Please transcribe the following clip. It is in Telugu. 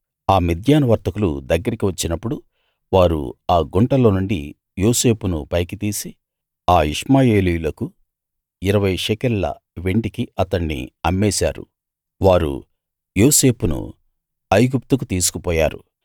ఆ మిద్యాను వర్తకులు దగ్గరికి వచ్చినపుడు వారు ఆ గుంటలో నుండి యోసేపును పైకి తీసి ఆ ఇష్మాయేలీయులకు ఇరవై షెకెల్ ల వెండికి అతణ్ణి అమ్మేశారు వారు యోసేపును ఐగుప్తుకు తీసుకుపోయారు